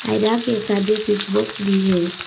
Mirror के साथ एक स्विच बॉक्स भी हैं।